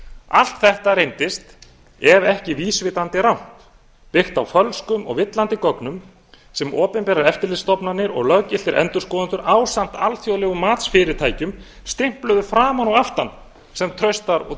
allt þetta reyndist ef ekki vísvitandi rangt byggt á fölskum og villandi gögnum sem opinberar eftirlitsstofnanir og löggiltir endurskoðendur ásamt alþjóðlegum matsfyrirtækjum stimpluðu framan og aftan sem traustar og